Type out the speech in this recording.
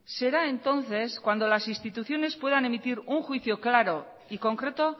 será entonces cuando las instituciones puedan emitir un juicio claro y concreto